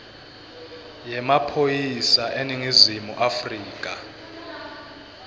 yemaphoyisa eningizimu afrika